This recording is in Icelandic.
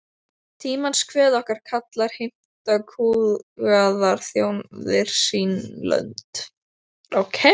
Tímans kvöð okkur kallar, heimta kúgaðar þjóðir sín lönd.